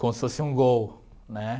Como se fosse um gol, né?